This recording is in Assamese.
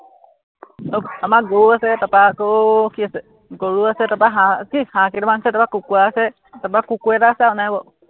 আহ আমাৰ গৰু আছে, তাৰপৰা আকৌ কি আছে, গৰু আছে, তাৰপৰা হাঁহ, কি হাঁহকেইটামান আছে, তাৰপৰা কুকুৰা আছে, তাৰপৰা কুকুৰ এটা আছে, আৰু নাই বাৰু।